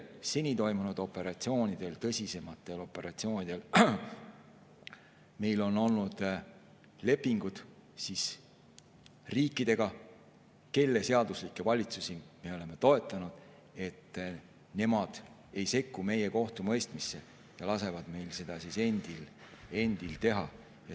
Seni toimunud tõsisematel operatsioonidel on meil olnud lepingud riikidega, kelle seaduslikke valitsusi me oleme toetanud, et nemad ei sekku meie kohtumõistmisse ja lasevad meil endil seda teha.